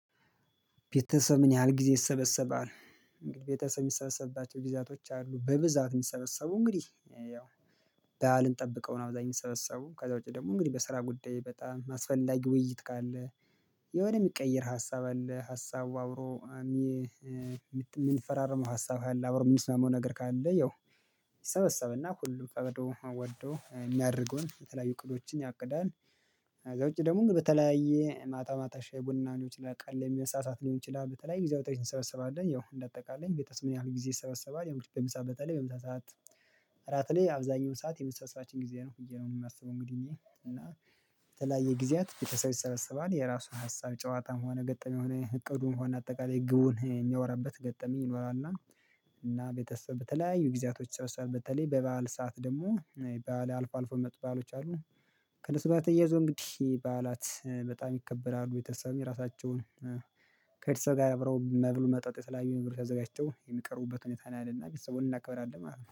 ቤተሰብ ምን ያህል ጊዜ ይሰበሰባል? እንግዲህ ቤተሰብ የሚሰበሰብባቸው ግዚያቶች አሉ በብዛት የሚሰበሰቡ እንግዲህ ያው ባዓልን ጠብቀው ነው አብዛኛው የሰበሰቡም ከዛ ውጪ ደግሞ እንግዲህ በስራ ጉዳይ በጣም ማስፈላጊ ውይይት ካለ የሆነ የሚቀየር ሀሳብ አለ ሀሳቡ አብሮ እሜ የምንፈራርመው ሀሳብ አለ አብሮ የምንስማማው ነገር ካለ ያው ይሰበሰብና ሁሉ ፈቅዶ ወዶ የሚያደርገውን የተለያዩ እቅዶችን ያቅዳል። ከዛ ውጪ ደግሞ በተለያየ ማታ ማታ ሻይ ቡና ሊሆን ይችላል ቀለም መሳሳት ሊሆን ይችላል በተለይ የጊዜያቶች እንሰበስባለን ያው እንደ አጠቃላይ ቤተሰብ ምን ያህል ጊዜ ይሰበሰባል። ያው እነግዲህ በምሳ በተለይ በምሳ ሰዓት እራት ላይ አብዛኛው ሰዓት የመሰብሰባችን ጊዜ ነው ብዬ ነው የማስበው። እንግዲህ እኔ እና የተለያየ ጊዜያት ቤተሰብ ይሰበሰባል የራሱን ሀሳብ ጨዋታም ሆነ ገጠመኝ ሆነ እቅዱም ሆነ አጠቃላይ ግቡን የሚያወራበት ገጠመኝ ይኖራል። እና ቤተሰብ በተለያዩ ጊዜያቶች ይሰበሰባል በተለይ በበዓል ሰዓት ደግሞ ባዓል አልፎ አልፎ የሚመጡ ባአሎች አሉ። ከነሱ ጋራ ተያይዞ እንግዲህ በዓላት በጣም ይከበራሉ ቤተሰብ የራሳቸውን ከእርስ ጋር አብረው መብሉ መጠጡ የተለያዩ ነገር አዘጋጅተው የሚቀሩበት ሁኔታ ነው ያለና ቤተሰቡን እናከብራለን ማለት ነው